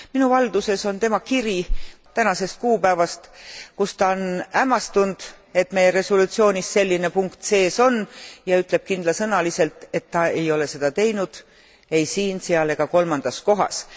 Minu valduses on tema kiri tänasest kuupäevast, kus ta on hämmastunud, et meie resolutsioonis selline punkt sees on ja ütleb kindlasõnaliselt, et ta ei ole seda teinud ei siin, seal ega kolmandas kohas.